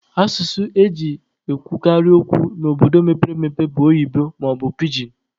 Asụsụ e ji ekwukarị okwu n'obodo mepere emepe bụ oyibo maọbụ pijin.